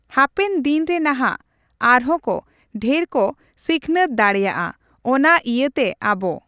ᱦᱟᱯᱮᱱ ᱫᱤᱱ ᱨᱮ ᱱᱟᱦᱟᱜ ᱟᱨ ᱦᱚᱸ ᱠᱚ ᱰᱷᱮᱨ ᱠᱚ ᱥᱤᱠᱱᱟᱹᱛ ᱫᱟᱲᱮᱭᱟᱜᱼᱟ ᱾ᱚᱱᱟ ᱤᱭᱟᱹᱛᱮ ᱟᱵᱚ᱾